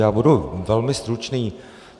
Já budu velmi stručný.